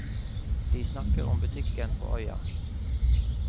De snakker om butikken på øya.